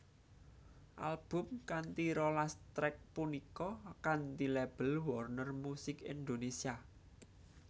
Album kanthi rolas track punika kanthi label Warner Music Indonesia